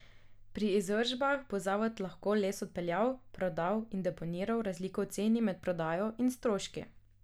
Pri izvršbah bo zavod lahko les odpeljal, prodal in deponiral razliko v ceni med prodajo in stroški.